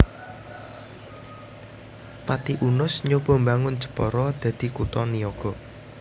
Pati Unus nyoba mbangun Jepara dadi kutha niaga